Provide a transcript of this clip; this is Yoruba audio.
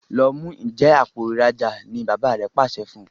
lọ mú Njé Àpò ìrajà wá! ní bàbá rẹ pàṣẹ fún.